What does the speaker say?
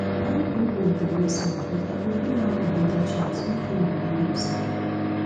young people dey mess up but i go give am another chance make im redeem himself